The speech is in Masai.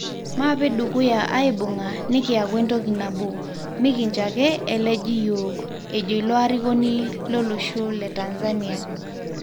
Mapee dukuya aibunga nikiyaku entoki nabo, mikincho ake eleji yiok'ejo ilo arikoni lolosho le Tanzania.